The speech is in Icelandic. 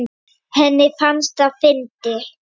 Henni fannst það fyndið.